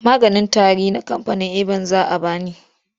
Maganin tari na kamfanin eban za a ba ni.